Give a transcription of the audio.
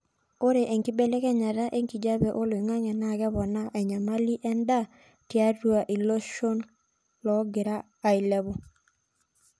ore enkibelekenyata enkijape oloingangi naa keponaa enyamali endaa tiatua iloshon logira ailepu